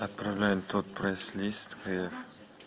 отправляем тот прайс лист киев